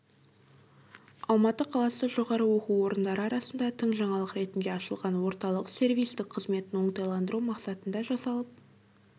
алматы қаласы жоғары оқу орындары арасында тың жаңалық ретінде ашылған орталық сервистік қызметін оңтайландыру мақсатында жасалып